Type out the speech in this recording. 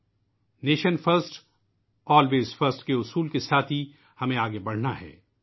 '' nation first, always first '' کے نعرے کے ساتھ ہی ہمیں آگے بڑھنا ہے